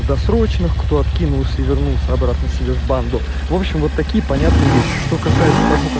досрочный кто откинулся и вернулся обратно себе в банду в общем вот такие понятные вещи что касается того как